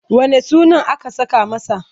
Wanne sunan aka saka masa?